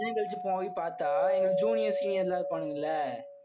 விழுந்தடிச்சு போய் பார்த்தா எங்களுக்கு juniors senior எல்லாம் இருப்பாங்க இல்லை?